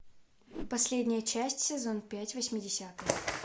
последняя часть сезон пять восьмидесятые